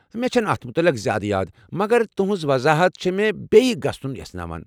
مےٚ چھنہٕ اتھ متعلق زیادٕ یاد، مگر تُہنٛز وضاحت چھ مےٚ بیٚیہِ گژھن یژھناوان۔